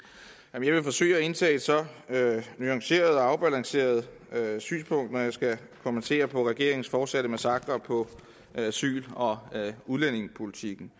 jeg vil forsøge at indtage et nuanceret og afbalanceret synspunkt når jeg skal kommentere på regeringens fortsatte massakre på asyl og udlændingepolitikken